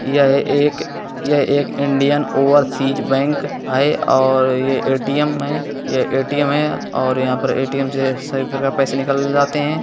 यह एक यह एक इंडियन ओवरसीज बैंक है और ये ए टी एम है ये एटीएम है और यहाँ पे एटीएम से सभी प्रकार के पैसे निकल जाते हैं।